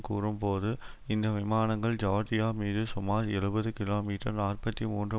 கூறும் போது இந்த விமானங்கள் ஜியார்ஜியா மீது சுமார் எழுபது கிலோமீட்டர் நாற்பத்தி மூன்று